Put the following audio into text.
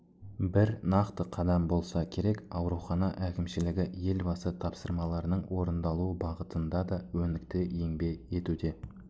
бір нақты қадам болса керек аурухана әкімшілігі елбасы тапсырмаларының орындалуы бағытында да өнікті еңбек етуде